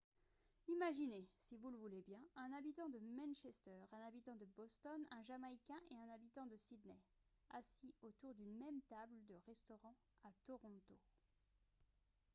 imaginez si vous le voulez bien un habitant de manchester un habitant de boston un jamaïcain et un habitant de sydney assis autour d'une même table de restaurant à toronto